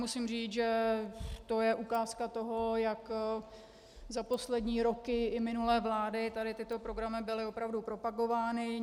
Musím říct, že to je ukázka toho, jak za poslední roky i minulé vlády tady tyto programy byly opravdu propagovány.